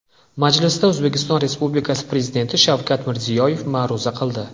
Majlisda O‘zbekiston Respublikasi Prezidenti Shavkat Mirziyoyev ma’ruza qildi.